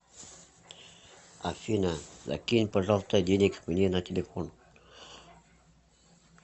афина закинь пожалуйста денег мне на телефон